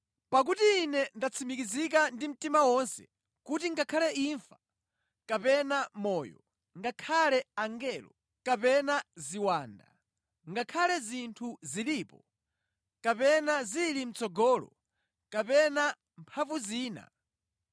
Pakuti ine ndatsimikiza ndi mtima wonse kuti ngakhale imfa, kapena moyo, ngakhale angelo, kapena ziwanda, ngakhale zinthu zilipo, kapena zili mʼtsogolo, kapena mphamvu zina,